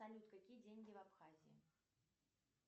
салют какие деньги в абхазии